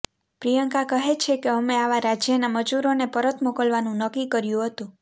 પ્રિયંકા કહે છે કે અમે આવા રાજ્યના મજૂરોને પરત મોકલવાનું નક્કી કર્યુ હતું